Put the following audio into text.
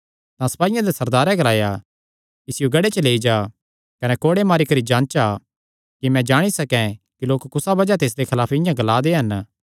तां सपाईयां दे सरदारे ग्लाया इसियो गढ़े च लेई जा कने कोड़े मारी करी जांचा कि मैं जाणी सकैं कि लोक कुसा बज़ाह ते इसदे खलाफ इआं ई ग्ला दे हन